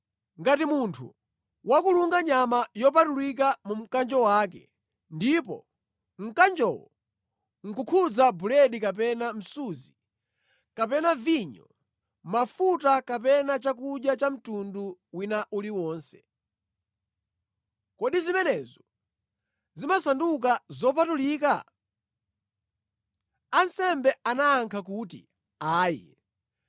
Ngati munthu wakulunga nyama yopatulika mu mkanjo wake, ndipo mkanjowo nʼkukhudza buledi kapena msuzi, kapena vinyo, mafuta kapena chakudya cha mtundu wina uliwonse, kodi zimenezo zimasanduka zopatulika?’ ” Ansembe anayankha kuti, “Ayi.”